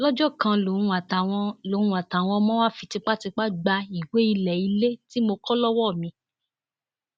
lọjọ kan lòun àtàwọn lòun àtàwọn ọmọ wàá fi tipátipá gba ìwé ilé ilé tí mo kọ lọwọ mi